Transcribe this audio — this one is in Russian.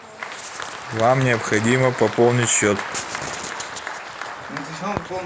вам необходимо пополнить счет